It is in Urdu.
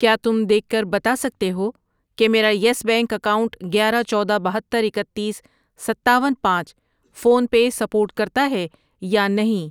کیا تم دیکھ کر بتا سکتے ہو کہ میرا یس بینک اکاؤنٹ گیارہ، چودہ، بہتر، اکتیس، ستاون، پانچ فون پے سپورٹ کرتا ہے یا نہیں؟